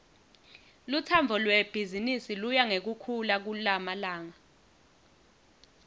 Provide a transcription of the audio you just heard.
lutsandvo lwebhizimisi luya ngekukhula kulamalanga